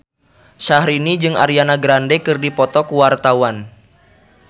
Syahrini jeung Ariana Grande keur dipoto ku wartawan